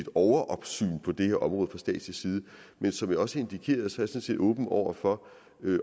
overopsyn på det her område fra statslig side men som jeg også indikerede sådan set åben over for